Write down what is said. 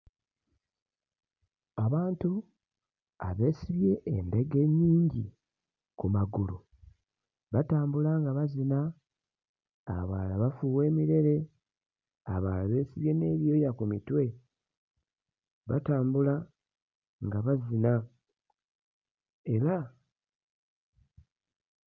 Abantu abeesibye endege ennyingi ku magulu batambula nga bazina, abalala bafuuwa emirere, abalala beesibye n'ebyoya ku mitwe. Batambula nga bazina era.